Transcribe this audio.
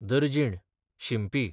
दर्जीण, शिंपी